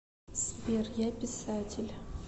сбер я писатель